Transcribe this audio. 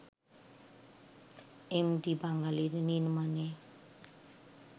MV Bangali নির্মাণে